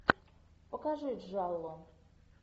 покажи джалло